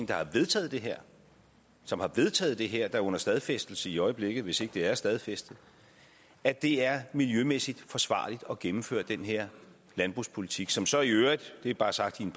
der har vedtaget det her som har vedtaget det her er under stadfæstelse i øjeblikket hvis ikke det er stadfæstet at det er miljømæssigt forsvarligt at gennemføre den her landbrugspolitik som så i øvrigt og det er bare sagt i en